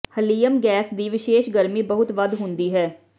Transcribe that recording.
helium gas ਦੀ ਵਿਸ਼ੇਸ਼ ਗਰਮੀ ਬਹੁਤ ਵੱਧ ਹੁੰਦੀ ਹੈ